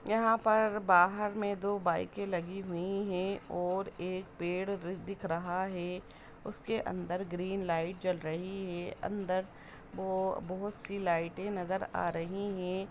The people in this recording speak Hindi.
यहाँ पर बाहर में दो बाईकें लगी हुई हैं और एक पेड़ र दिख रहा है। उसके अंदर ग्रीन लाइट जल रही है। अंदर बोहो बहोत सी लाइटें नजर आ रहीं हैं।